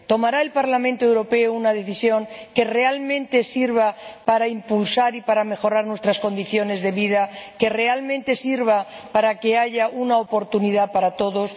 ¿Tomará el Parlamento Europeo una decisión que realmente sirva para impulsar y mejorar nuestras condiciones de vida, que realmente sirva para que haya oportunidades para todos?